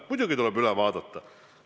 Muidugi tuleb see üle vaadata.